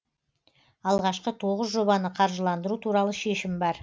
алғашқы тоғыз жобаны қаржыландыру туралы шешім бар